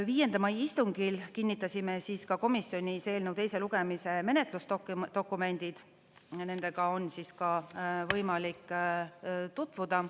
5. mai istungil kinnitasime komisjonis eelnõu teise lugemise menetlusdokumendid ja nendega on võimalik tutvuda.